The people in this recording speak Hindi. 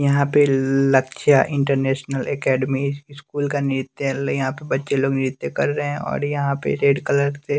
यहाँ पे लक्षा इंटरनेशनल अकेडमी स्कूल का नृत्य यहाँ पे बच्चे लोग नृत्य कर रहे हैं और यहाँ पे रेड कलर से --